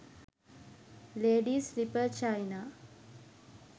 ladies slipper china